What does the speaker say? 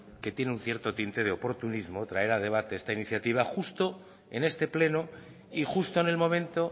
que tiene un cierto tinte de oportunismos traer a debate esta iniciativa justo en este pleno y justo en el momento